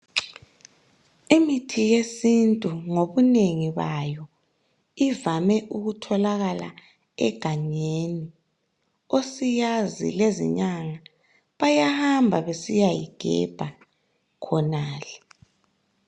Imithi yesintu ngobunengi bayo ivame ukutholakala egangeni. Osiyazi lezinyanga, bayahamba besiyayigebha khonale.